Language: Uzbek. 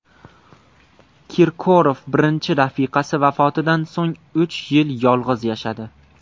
Kirkorov birinchi rafiqasi vafotidan so‘ng uch yil yolg‘iz yashadi.